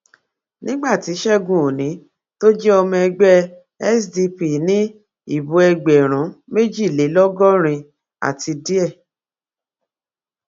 nígbà tí ṣẹgun òní tó jẹ ọmọ ẹgbẹ sdp ní ìbò ẹgbẹrún méjìlélọgọrin àti díẹ